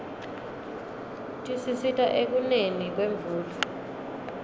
tisisita ekuneni kwemvula